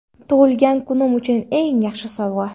Tug‘ilgan kunim uchun eng yaxshi sovg‘a.